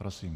Prosím.